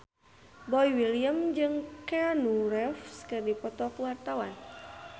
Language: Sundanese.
Boy William jeung Keanu Reeves keur dipoto ku wartawan